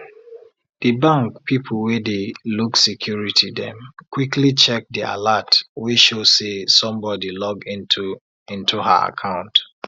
de bank people wey dey look security dem quickly check de alert wey show say somebody log into into her account